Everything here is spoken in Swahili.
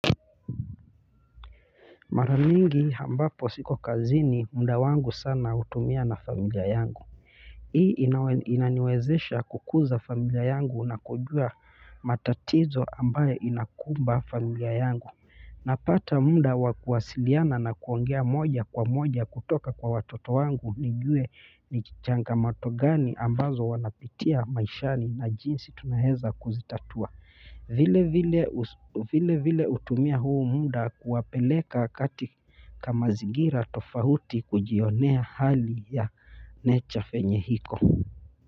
Mara mingi ambapo siko kazini mda wangu sana hutumia na familia yangu hii inaniwezesha kukuza familia yangu na kujua matatizo ambaye inakumba familia yangu napata muda wa kuwasiliana na kuongea moja kwa moja kutoka kwa watoto wangu nijue ni changamoto gani ambazo wanapitia maishani na jinsi tunaweza kuzitatua vile vile hutumia huu muda kuwapeleka kati ka mazingira tofauti kujionea hali ya 'nature' venye iko.